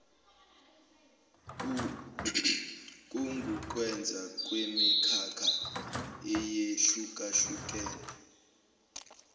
kungukwenza kwemikhakha eyehlukahlukene